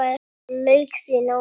Þar lauk því námi.